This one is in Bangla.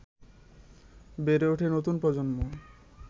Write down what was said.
বেড়ে উঠছে নতুন প্রজন্ম